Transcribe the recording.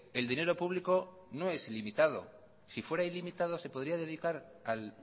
el dinero público no es limitado si fuera ilimitado se podría dedicar al